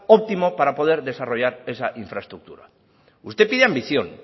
óptimo para poder desarrollar esa infraestructura usted pide ambición